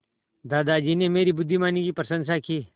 दादाजी ने मेरी बुद्धिमानी की प्रशंसा की